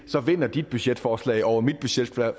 vinder dit budgetforslag over mit budgetforslag